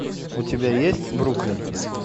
у тебя есть бруклин